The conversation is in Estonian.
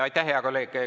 Aitäh, hea kolleeg!